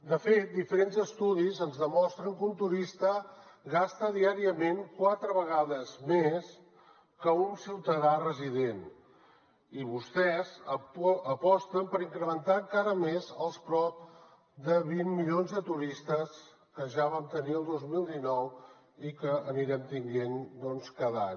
de fet diferents estudis ens demostren que un turista gasta diàriament quatre vegades més que un ciutadà resident i vostès aposten per incrementar encara més els prop de vint milions de turistes que ja vam tenir el dos mil dinou i que anirem tenint doncs cada any